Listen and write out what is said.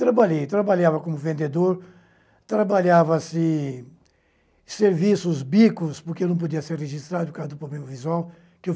trabalhei. Trabalhava como vendedor, trabalhava-se serviços, bicos, porque não podia ser registrado por causa do problema visual.